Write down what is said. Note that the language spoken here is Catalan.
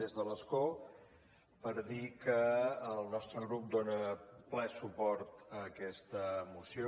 des de l’escó per dir que el nostre grup dona ple suport a aquesta moció